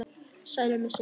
Sælir með sitt.